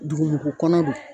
Dugumugu kɔnɔ don